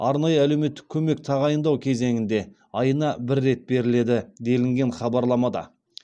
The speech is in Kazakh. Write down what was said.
арнайы әлеуметтік көмек тағайындау кезеңінде айына бір рет беріледі делінген хабарламада